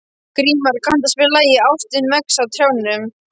Grímar, kanntu að spila lagið „Ástin vex á trjánum“?